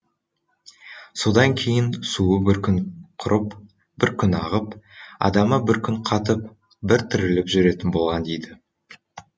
содан кейін суы бір күн құрып бір күн ағып адамы бір күн қатып бір тіріліп жүретін болған дейді